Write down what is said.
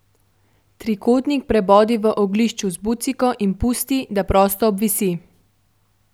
Trikotnik prebodi v oglišču z buciko in pusti, da prosto obvisi.